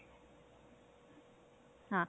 ਹਾਂ